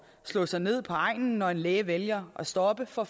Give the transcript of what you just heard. slå sig ned på egnen når en læge vælger at stoppe for